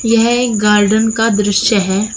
यह एक गार्डन का दृश्य है।